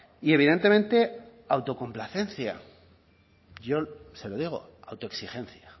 y evidentemente autocomplacencia yo se lo digo autoexigencia